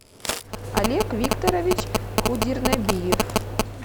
олег викторович худирнабиев